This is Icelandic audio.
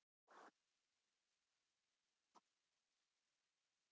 komin í einum lófa og stuttu síðar grætur strákurinn.